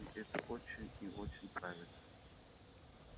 и это очень и очень правильно